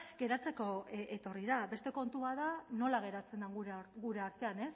geratzeko etorri da beste kontu bat da nola geratzen den gure artean